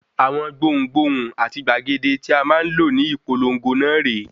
Awọn gbohùn-gbohùn àti gbàgede tí a máa lò ní ìpolongo náà rè é.